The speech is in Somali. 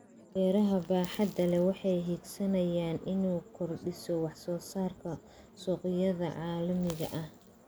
Beeraha baaxadda leh waxay higsanaysaa inay kordhiso wax soo saarka suuqyada caalamiga ah.